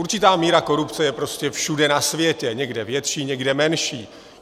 Určitá míra korupce je prostě všude na světě, někde větší, někde menší.